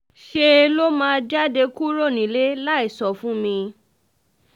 ṣe ló máa jáde kúrò nílé láì sọ fún mi